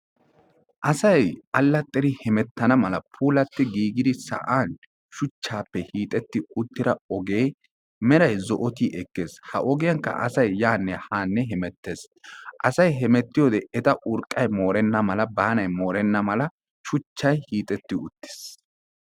Asay allaxxir hemettana mala puulati giiggidi sa'an shuchchaappe hiixxetti uttira ogee meray zo"oti ekees ha ogiyankka asay yaanne haanne hemettees. Asay hemetiyiyode eta urqqay moorenna mala baanaay moorenna mala shuchchay hiixxetti uttiis.